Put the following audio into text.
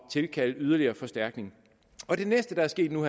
tilkalde yderligere forstærkning det næste der er sket nu